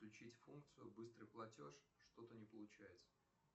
включить функцию быстрый платеж что то не получается